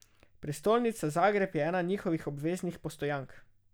Prestolnica Zagreb je ena njihovih obveznih postojank.